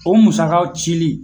O musakaw cili